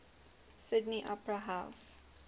sydney opera house